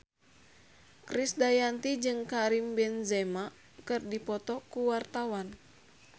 Krisdayanti jeung Karim Benzema keur dipoto ku wartawan